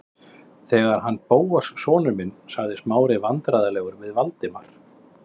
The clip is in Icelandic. Þetta er hann Bóas sonur minn- sagði Smári vandræðalegur við Valdimar.